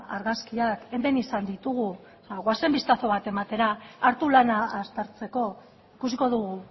argazkiak hemen izan ditugu ba goazen bistazo bat ematera hartu lana aztertzeko ikusiko dugu